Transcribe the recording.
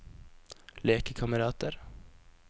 lekekamerater